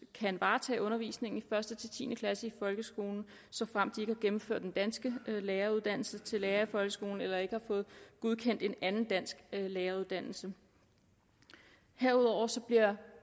kan varetage undervisningen i første ti klasse i folkeskolen såfremt de ikke har gennemført den danske læreruddannelse til lærer i folkeskolen eller ikke har fået godkendt en anden dansk læreruddannelse herudover bliver